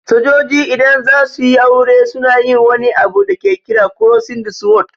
Sojoji idan zasuyi aure suna yin wani abu da ke kira "Crossing the Sword".